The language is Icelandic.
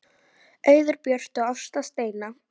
Auður Björt og Ásta Steina.